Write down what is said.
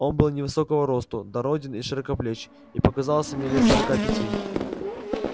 он был невысокого росту дороден и широкоплеч и показался мне лет сорока пяти